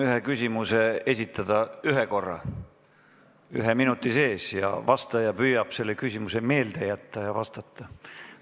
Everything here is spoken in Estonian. Püüame korraga esitada ühe küsimuse ühe minuti sees ja vastaja püüab selle küsimuse meelde jätta ja vastata.